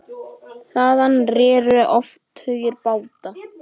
Þaðan réru oft tugir báta.